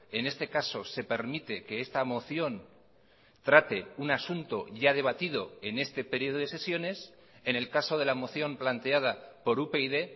en este caso se permite que esta moción trate un asunto ya debatido en este periodo de sesiones en el caso de la moción planteada por upyd